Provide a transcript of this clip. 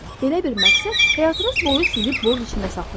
Belə bir məqsəd həyatınız boyu sizi borc içində saxlayacaq.